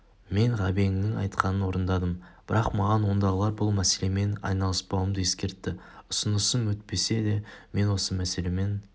мен ғабеңнің айтқанын орындадым бірақ маған ондағылар бұл мәселемен айналыспауымды ескертті ұсынысым өтпеседе мен осы мәселемен